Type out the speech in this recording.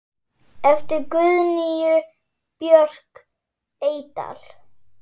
eftir Guðnýju Björk Eydal